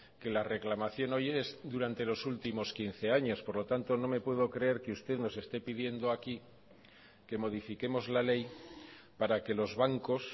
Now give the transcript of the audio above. que la reclamación hoy es durante los últimos quince años por lo tanto no me puedo creer que usted nos esté pidiendo aquí que modifiquemos la ley para que los bancos